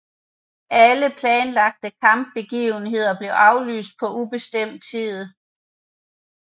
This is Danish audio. Alle planlagte kampagnebegivenheder blev aflyst på ubestemt tid